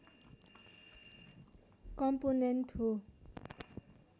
component हो